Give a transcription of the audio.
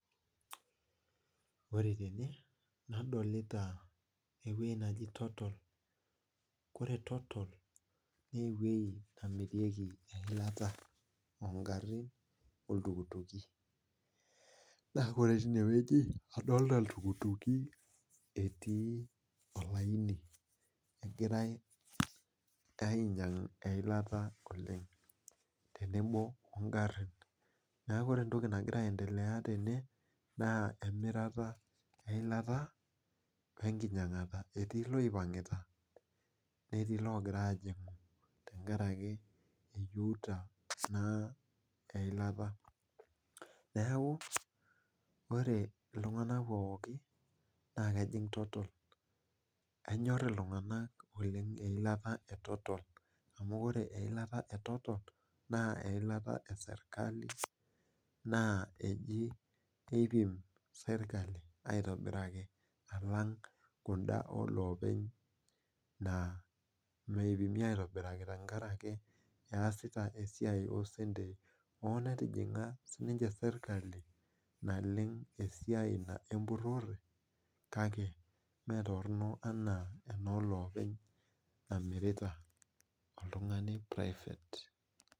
Ore tene nadolita eweji nejia totol ,ore totol naa eweji nemirieki eilata oongarin oltukutuki ,naa ore tine weji adolita iltukutuki etii olaini egirae ainyangu eilata oleng tenebo ingarin ,neeku ore entoki nagira aendelea tene naa emitara eilata wenkinyangata ,etii loigira aipang ologira ajingu tenkaraki naa eyieuta eilata ,neeku ore naa iltunganak pookin ejingu totol ,enyor iltunganak oleng eilata etotol amu ore eilata etotol naa eilata esirkali naa eipim sirkali aitobiraki alang kunda olopeny naa meipimi aitobiraki tenkaraki eesita esiai oseneti ,hoo netijinga siininye sirkali naleng esiai empurore kake metoronok ena enolopeny namirita oltungani prifat.